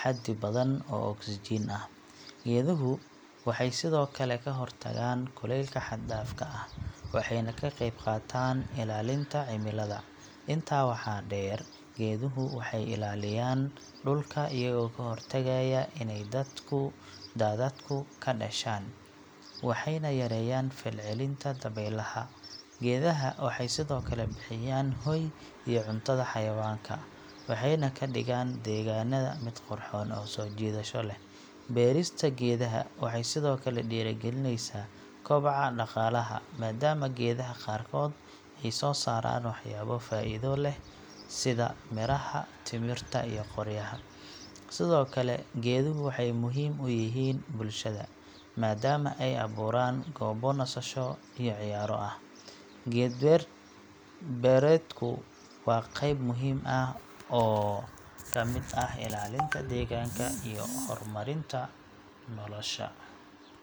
xaddi badan oo oksijiin ah. Geeduhu waxay sidoo kale ka hortagaan kulaylka xad-dhaafka ah, waxayna ka qayb qaataan ilaalinta cimilada. Intaa waxaa dheer, geeduhu waxay ilaalinayaan dhulka iyagoo ka hortagaya inay daadadku ka dhashaan, waxayna yareeyaan falcelinta dabaylaha. Geedaha waxay sidoo kale bixiyaan hoy iyo cuntada xayawaanka, waxayna ka dhigaan deegaanada mid qurxoon oo soo jiidasho leh. Beerista geedaha waxay sidoo kale dhiirigelinaysaa kobaca dhaqaalaha, maadaama geedaha qaarkood ay soo saaraan waxyaabo faa'iido leh sida miraha, timirta, iyo qoryaha. Sidoo kale, geeduhu waxay muhiim u yihiin bulshada, maadaama ay abuuraan goobo nasasho iyo ciyaaro ah. Geed beerdku waa qayb muhiim ah oo ka mid ah ilaalinta deegaanka iyo horumarinta nolosha.